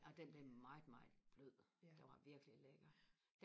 amen den blev meget meget blød den var virkelig lækker